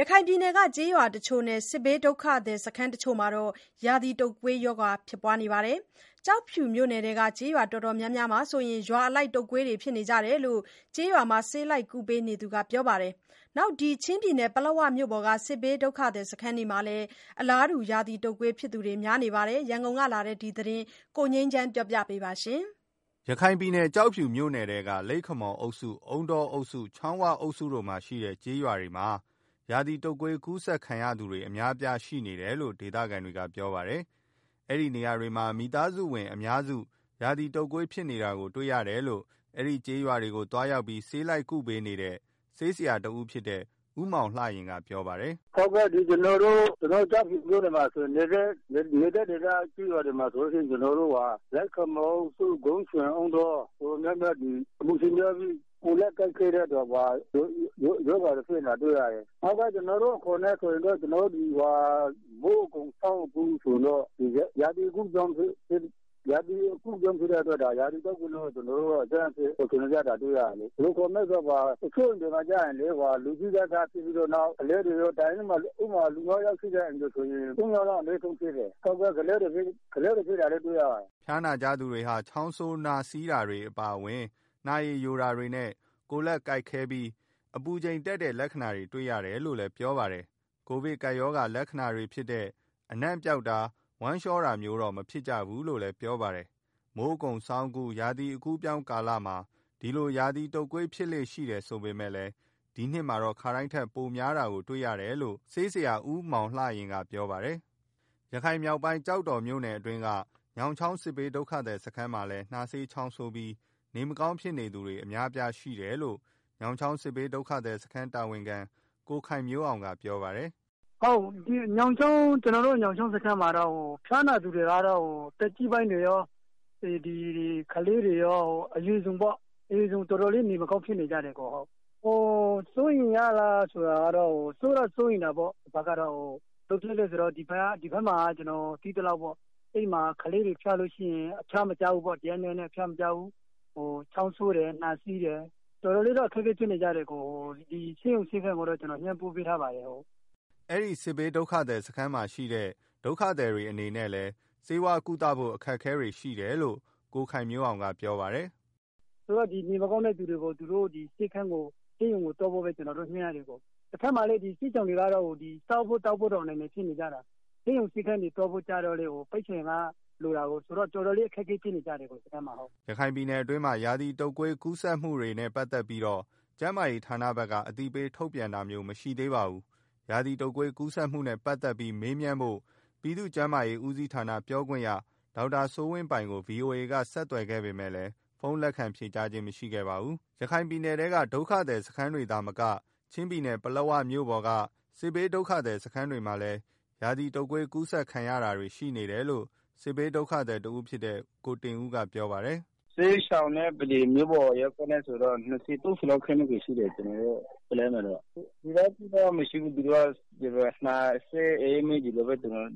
ရခိုင်ပြည်နယ်က ကျေးရွာတချို့နဲ့ စစ်ဘေးဒုက္ခသည်စခန်းတချို့မှာ ရာသီတုပ်ကွေးရောဂါ ဖြစ်နေကြပါတယ်။ ကျောက်ဖြူမြို့နယ်ထဲက ကျေးရွာတော်တော်များများမှာဆို ရွာအလိုက် တုပ်ကွေးဖြစ်နေကြတယ်လို့ ကျေးရွာမှာ ဆေးလိုက်ကုပေးနေသူက ပြောပါတယ်။ ချင်းပြည်နယ်ပလက်ဝ မြို့ပေါ်က စစ်ဘေးဒုက္ခသည်စခန်းတွေမှာလည်း အလားတူ ရာသီတုပ်ကွေးဖြစ်သူတွေ များနေပါတယ်။ ရန်ကုန်ကလာတဲ့ ဒီသတင်းကို ကိုငြိမ်းချမ်းက တင်ပြပေးထားပါတယ်။ ရခိုင်ပြည်နယ် ကျောက်ဖြူမြို့နယ်ထဲက လိပ်ခမော်အုပ်စု၊ အုန်းတောအုပ်စု၊ ချောင်းဝအုပ်စုတို့မှာရှိတဲ့ ကျေးရွာတွေမှာ ရာသီတုပ်ကွေးကူးစက်ခံရသူတွေ အများအပြားရှိနေတယ်လို့ ဒေသခံတွေက ပြောပါတယ်။ အဲဒီနေရာတွေမှာ မိသားစုဝင်အများစု ရာသီတုပ်ကွေးဖြစ်နေတာကို တွေ့ရတယ်လို့ အဲဒီကျေးရွာတွေကို သွားရောက်ပြီး ဆေးလိုက် ကုပေးနေတဲ့ ဆေးဆရာ ဦးမောင်လှယဉ်ကပြောပါတယ်။ “ကျနော်တို့ ကျောက်ဖြူမြို့နယ်က လိပ်ခမော်၊ အုန်းတောအုပ်စု၊ ဂုံးချွိန်ကျေးရွာတွေ ဆိုရင်တော့ အပူချိန်များပြီး ကိုယ်လက်ကိုက်ခဲတဲ့ ရောဂါတွေ ဖြစ်နေတာတွေ့ရတယ်။ ကျနော်တို့အခေါ်နဲ့ဆိုရင်တော့ မိုးအကုန် ဆောင်းအကူး ရာသီအကူးအပြောင်းဖြစ်တဲ့အတွက် ရာသီတုပ်ကွေးဆိုပြီးတော့ တွေ့ရတယ်။ တချို့အိမ်တွေမှာဆိုရင် လူကြီးက စဖြစ်ပြီးတော့ နောက်ကလေးတွေရော ဖြစ်တယ်။ ဥပမာ တအိမ်မှာ လူငါးယောက် ရှိတယ်ဆိုရင် သုံးယောက်အနည်းဆုံးဖြစ်တယ်။ ကလေးတွေ ဖြစ်တာလည်းတွေ့ရပါတယ်။” ဖျားနာကြသူတွေဟာ နှာစေးချောင်းဆိုးတာ၊ နှာရည်ယိုတာနဲ့ ကိုယ်လက်ကိုက်ခဲပြီး အပူချိန်တက်တဲ့လက္ခဏာတွေ တွေ့ရတယ်လို့လည်း ပြောပါတယ်။ ကိုဗစ်ကပ်ရောဂါ လက္ခဏာတွေဖြစ်တဲ့ အနံ့ပျောက်တာ၊ ဝမ်းလျှောတာမျိုးတွေတော့ မဖြစ်ကြဘူးလို့လည်း ပြောပါတယ်။ မိုးအကုန်ဆောင်းအကူး ရာသီအကူးအပြောင်းကာလမှာ ဒီလို ရာသီတုပ်ကွေး ဖြစ်လေ့ရှိတယ်ဆိုပေမယ့် ဒီနှစ်မှာတော့ ခါတိုင်းထက် ပိုများနေတာတွေ့ရတယ်လို့လည်း ဆေးဆရာဦးမောင်လှယဉ်ကပြောပါတယ်။ ရခိုင်မြောက်ပိုင်း ကျောက်တော်မြို့နယ်အတွင်းက ညောင်ချောင်း စစ်ဘေးဒုက္ခသည်စခန်းမှာလည်း နှာစေးချောင်းဆိုးပြီး နေမကောင်းဖြစ်နေသူတွေ အများအပြား ရှိနေတယ်လို့ ညောင်ချောင်းစစ်ဘေးဒုက္ခသည်စခန်းတာဝန်ခံ ကိုခိုင်မျိုးအောင်က ပြောပါတယ်။ “ကျနော်တို့ ညောင်ချောင်းစစ်ရှောင်စခန်းမှာတော့ ဖျားနာသူတွေက သက်ကြီးပိုင်းတွေကော၊ ကလေးတွေရော အရွယ်စုံပေါ့။ တော်တေ်ာလေး နေမကောင်းဖြစ်နေကြတယ်။ စိုးရိမ်တော့ စိုးရိမ်တာပေါ့။ ဘာဖြစ်လို့လဲဆိုတော့ ဒီမှာ ကလေးတွေဖျားရင် တရက်နှစ်ရက်နဲ့ အဖျားမကျဘူး။ ချောင်းဆိုးတယ်။ နှာစေးတယ်။ တော်တော်လေးတော့ အခက်အခဲဖြစ်နေကြတယ်။ ဆေးရုံဆေးခန်းကို တော့ ကျနော်လှမ်းပြောထားပါတယ်။” အဲဒီစစ်ဘေးဒုက္ခသည်စခန်းမှာရှိတဲ့ စစ်ဘေးဒုက္ခသည်တွေအနေနဲ့လည်း ဆေးဝါးကုသ ဖို့ အခက်အခဲတွေ ရှိနေတယ်လို့ ကိုခိုင်မျိုးအောင်က ပြောပါတယ်။ “နေမကောင်းတဲ့သူတွေကိုတော့ ကျနော်တို့ ဆေးရုံကိုသွားဖို့ပဲ ကျနော်တို့ ညွှန်းရတယ်၊ တဘက်မှာလည်း ဒီစစ်ရှောင်တွေက စားဖို့ သောက်ဖို့တောင် အနိုင်နိုင်ဖြစ်နေကြတာ။ ဆေးရုံဆေးခန်းသွားဖို့ ဆိုတာကလည်း ပိုက်ဆံက တော်တော်လိုတာကို ဆိုတော့ တော်တော် လေး အခက်အခဲဖြစ်နေကြတယ် ဒီစခန်းမှာ။” ရခိုင်ပြည်နယ်အတွင်းမှာ ရာသီတုပ်ကွေး ကူးစက်မှုတွေရှိနေတာနဲ့ ပတ်သက်ပြီး ကျန်းမာရေးဌာနဘက်က အသိပေးထုတ်ပြန်တာမျိုး မရှိသေးပါဘူး။ ရာသီတုပ်ကွေး ကူးစက်မှုတွေနဲ့ ပတ်သက်ပြီး မေးမြန်းဖို့ ပြည်သူ့ကျန်းမာရေးဦးစီးဌာနပြောခွင့်ရ ဒေါက်တာစိုးဝင်းပိုင်ကို ဗွီအိုအေက ဆက်သွယ်ခဲ့ပေမယ့်လည်း ဖုန်းလက်ခံဖြေဆိုခဲ့ခြင်း မရှိပါဘူး။ ရခိုင်ပြည်နယ်ထဲက ဒုက္ခသည်စခန်းတွေမှာသာမကချင်းပြည်နယ် ပလက်ဝမြို့ပေါ်က စစ်ဘေးဒုက္ခသည်စခန်းတွေမှာလည်း ရာသီတုပ်ကွေး ကူးစက်ခံရတာတွေရှိနေတယ်လို့ စစ်ဘေးဒုက္ခသည်တဦးဖြစ်တဲ့ ကိုတင်ဦးကပြောပါတယ်။ “စစ်ရှောင်စခန်းမှာတော့ ၂၀၊ ၃၀ လောက်ရှိတယ်။ ကျနော်တို့ ပလက်ဝမှာတော့ စိုးရိမ် စရာတော့ မရှိပါဘူး။ နှာစေး အအေးမိ ဒီလောက်ပဲ ပြီးတော့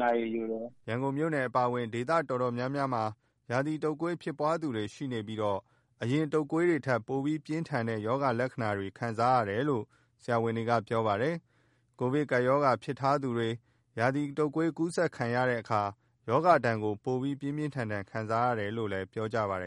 နှာရည်ယိုတယ်။” ရန်ကုန်မြို့အပါအဝင် ဒေသတော်တော်များများမှာ ရာသီတုပ်ကွေးဖြစ်ပွားသူတွေ ရှိနေပြီး အရင် တုပ်ကွေးတွေထက် ပိုပြင်းထန်တဲ့ ရောဂါလက္ခဏာပြကြတယ်လို့ ဆရာဝန်တွေက ပြောပါတယ်။ ကိုဗစ်ကပ်ရောဂါ ဖြစ်ထားသူတွေ ရာသီတုပ်ကွေးကူးစက်တဲ့အခါ ရောဂါဒဏ်ကို ပိုပြီး ပြင်းပြင်းထန်ထန် ခံစားရတယ်လို့လည်း ပြောကြပါတယ်